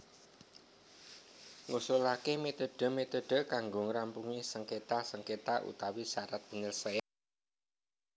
Ngusulaké metode metode kanggo ngrampungi sengketa sengketa utawa syarat penyelesaian